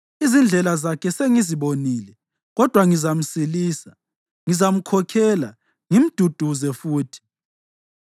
Izindlela zakhe sengizibonile, kodwa ngizamsilisa. Ngizamkhokhela, ngimduduze futhi,